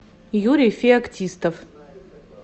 юрий феоктистов